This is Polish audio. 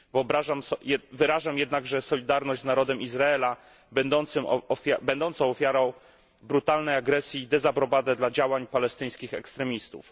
Wyrażam jednakże solidarność z narodem Izraela będącym ofiarą brutalnej agresji i dezaprobatę dla działań palestyńskich ekstremistów.